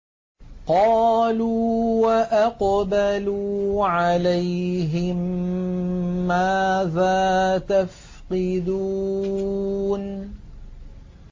قَالُوا وَأَقْبَلُوا عَلَيْهِم مَّاذَا تَفْقِدُونَ